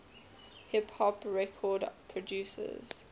hip hop record producers